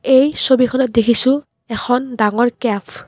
এই ছবিখনত দেখিছোঁ এখন ডাঙৰ কেফ।